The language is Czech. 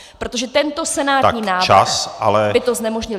Protože tento senátní návrh by to znemožnil.